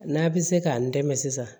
N'a bɛ se k'an dɛmɛ sisan